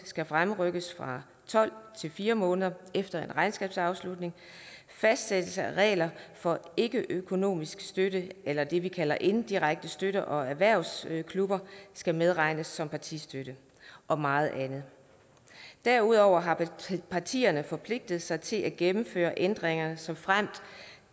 skal fremrykkes fra tolv til fire måneder efter regnskabsafslutning fastsættelse af regler for ikkeøkonomisk støtte eller det vi kalder inddirekte støtte og erhvervsklubber skal medregnes som partistøtte og meget andet derudover har partierne forpligtet sig til at gennemføre ændringerne såfremt